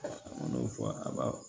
N'o fɔ a ka